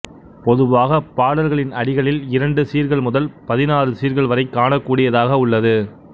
பொதுவாகப் பாடல்களின் அடிகளில் இரண்டு சீர்கள் முதல் பதினாறு சீர்கள் வரை காணக்கூடியதாக உள்ளது